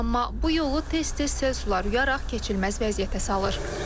Amma bu yolu tez-tez sel sular yuyaraq keçilməz vəziyyətə salır.